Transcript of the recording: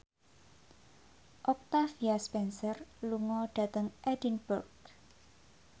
Octavia Spencer lunga dhateng Edinburgh